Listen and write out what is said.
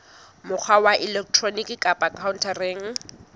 mokgwa wa elektroniki kapa khaontareng